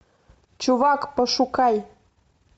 чувак пошукай